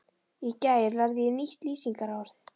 Í gær lærði ég nýtt lýsingarorð.